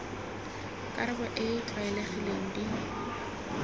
karabo e e tlwaelegileng di